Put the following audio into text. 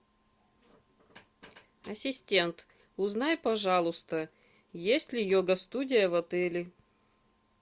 ассистент узнай пожалуйста есть ли йога студия в отеле